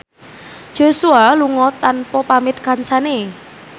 Joshua lunga tanpa pamit kancane